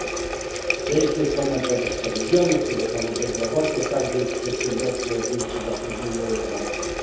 Jest ich ponad 20 milionów, tyle samo ile bezrobotnych każde przedsiębiorstwo zwiększy zatrudnienie o 1 osobę.